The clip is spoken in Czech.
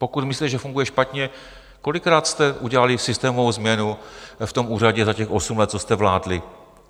Pokud myslíte, že funguje špatně, kolikrát jste udělali systémovou změnu v tom úřadě za těch osm let, co jste vládli?